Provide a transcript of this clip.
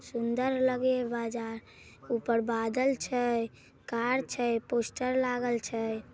सुंदर लगय ये बजार ऊपर बादल छै कार छै पोस्टर लागल छै।